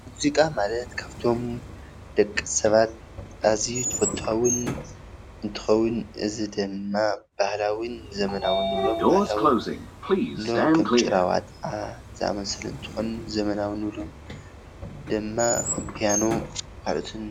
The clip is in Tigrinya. ሙዚቃ ማለት ካብቶም ደቂ ሰባት ኣዝዩ ተፈታዉን እንትከውን እዚ ድማ ባህላዊን ዘበናውን ንብሎም ባህላዊን ከም ጭራዋጣ ዘኣመሰሉ እንትከውን ዘበናዊ ንብሎም ድማ ከም ፒያኖ ካልኦትን፡፡